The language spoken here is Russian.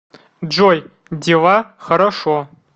джой дела хорошо